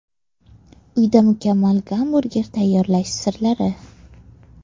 Uyda mukammal gamburger tayyorlash sirlari.